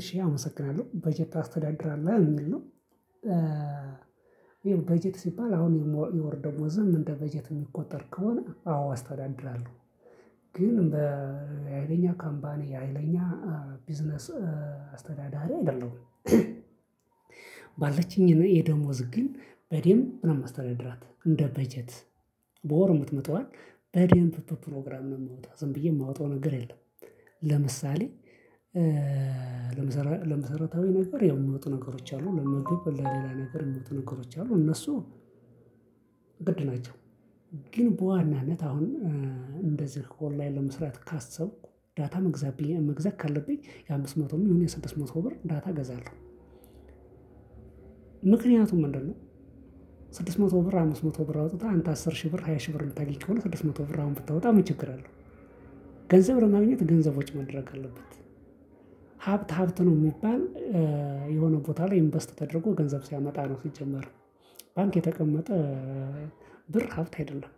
እሺ አመሰግናለሁ በጀት ታስተዳድራለሁ ሚል ነው። ይሄው በጀት ሲባል አሁን የወርደውዝም እንደ በጀት ሚቆጠር ከሆነ አዎ አስተዳድራለሁ ግን በሃይለኛ ካምፓኒ ሀይለኛ ቢዝነስ አስተዳዳሪ አይደለሁም። ባለችኝ የደሞዝ ግን በዴምብ ነው ማስተዳድራት እንደ በጀት በወር ሙትመጣዋን በደንብ በፕሮግራም ነው ማወጣ ዝም ብዬ ማወጣው ነገር የለም። ለምሳሌ ለመሰረታዊ ነገር የምወጡ ነገሮች አሉ ለምግብ ለሌላ ነገር ምወጡ ነገሮች አሉ እነሱ ግድ ናቸው። ግን በዋናነት አሁን እንደዚህ ኦንላይን ለመስራት ካሰብኩ ዳታ መግዛት መግዛት ካለብኝ የአምስት መቶም ይሁን ስድስት መቶ ብር ዳታ እገዛለሁ። ምክንያቱም ምንድነው? ስድስት መቶ ብር አምስት መቶ ብር አውጥተህ አንተ አስር ሺህ ብር ሃያ ሺህ ብር ልታጊች ከሆነ ስድስት መቶ ብር ብታወጣ ምንችግር አለው? ገንዘብ ለማግኘት ገንዘብ ወጪ መደረግ አለበት። ሀብት ሀብት ነው ሚባል። የሆነ ቦታ ላይ ኢንቨስት ተደርጎ ገንዘብ ሲያመጣ ነው ሲጀመር። ባንክ የተቀመጠ ብር ሀብት አይደለም።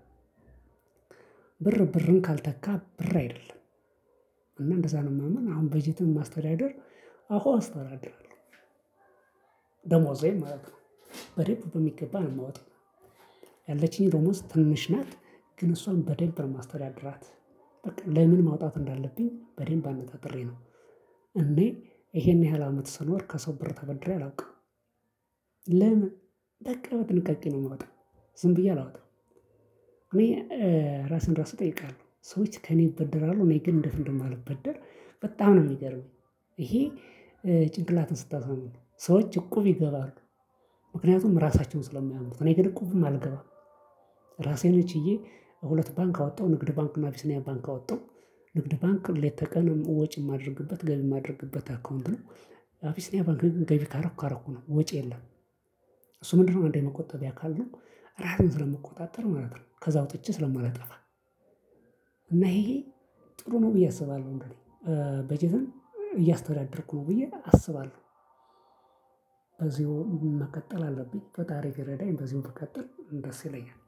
ብር ብርን ካልተካ ብር አይደለም። እና እንደዛ ነው ማምን አሁን በጀትን ማስተዳደር አዎ አስተዳድራለሁ። ደሞዜን ማለት ነው በደምብ በሚገባ ነው ማወጣው። ያለችኝ ደሞዝ ትንሽ ናት ግን እሷን በደብ ነው ማስተዳድራት በቃ ለምን ማውጣት እንዳለብኝ በደንብ አነጣጥሬ ነው። እኔ ይሄን ያህል አመት ስኖር ከሰው ብር ተበድሬ አላውቅም። ለምን በቃ በጥንቃቄ ነው ማወጣ ዝም ብዬ አላወጣም። እኔ ራስን ራሱ እጠይቃለሁ ሰዎች ከእኔ ይበደራሉ እኔ ግን እንዴት እንደማልበደር በጣም ነው የሚገርመኝ። ይሄ ጭንቅላትን ስታሳምነው ሰዎች እቁብ ይገባሉ። ምክንያቱም ራሳቸውን ስለማያምኑት እኔ ግን እቁብም አልገባም። ራሴን ችዬ ሁለት ባንክ አወጣው ንግድ ባንክ አቢስኒያ ባንክ አወጣው። ንግድ ባንክ ሌት ተቀን ወጪ ማደርግበት ገቢ ማደርግበት አካውንት ነው። አብሲንያ ገቢ ካረኩ ካረኩ ነው ወጪ የለም። እሱ ምንድነው አንዱ የመቆጠቢያ አካል ነው። ራሴን ስለምቆጣጠር ማለት ነው ከዛ አውጥቼ ስለማላጠፋ። እና እሄ እሄ ጥሩ ነው ብዬ አስባለሁ። በጀትም እያስተዳደርኩ ነው ብዬ አስባለሁ። በዚህ መቀጠል አለብኝ ፈጣሪ ቢረዳኝ በዚሁ ከቀጠልኩ ደስ ይለኛል።